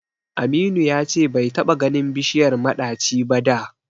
Aminu ya ce bai taɓa ganin bishiyar maɗaci ba da.